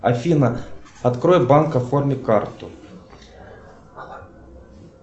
афина открой банк оформи карту